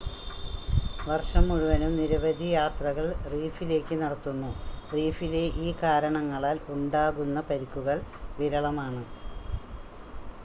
വർഷം മുഴുവനും നിരവധി യാത്രകൾ റീഫിലേക്ക് നടത്തുന്നു, റീഫിലെ ഈ കാരണങ്ങളാൽ ഉണ്ടാകുന്ന പരിക്കുകൾ വിരളമാണ്